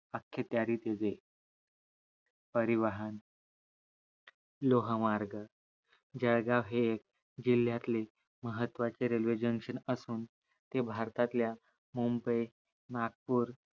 अक्खी तयारीत येते परिवहन लोहमार्ग जाळगाव हे एक जिल्ह्यातले महत्वाचं रेल्वे JUNCTION असून ते भारतातल्या मुंबई, नागपूर